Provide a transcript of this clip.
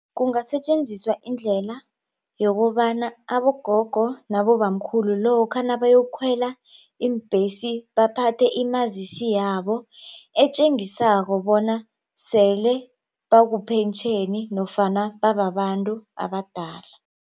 Kungasetjenziswa indlela yokobana abogogo nabobamkhulu lokha nabayokukhwela iimbhesi baphathe imazisi yabo etjengisako bona selebakupentjheni nofana bababantu abadala.